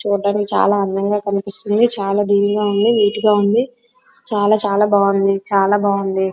చూడడానికి చాలా అందంగా వుంది. చాలా చాలా బాగుంది చాలా బాగుంది.